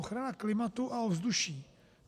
Ochrana klimatu a ovzduší.